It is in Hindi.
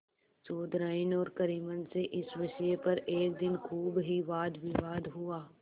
चौधराइन और करीमन में इस विषय पर एक दिन खूब ही वादविवाद हुआ